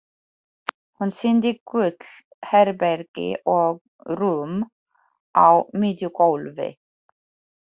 Hún sýndi gult herbergi og rúm á miðju gólfi.